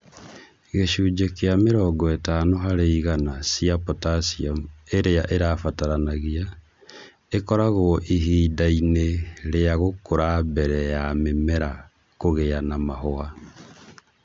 Gĩcunjĩ kĩa mĩrongo ĩtano harĩ igana cia potassium ĩrĩa ĩrabataranagia, ĩkoragwo ihinda-inĩ rĩa gũkũra mbere ya mĩmera kũgĩa na mahũa